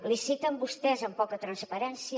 liciten vostès amb poca transparència